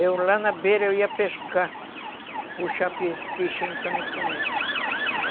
Eu, lá na beira, eu ia pescar, puxar pe peixinho para mim comer.